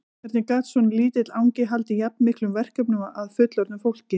Hvernig gat svona lítill angi haldið jafn miklum verkefnum að fullorðnu fólki?